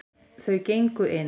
Þau gengu inn.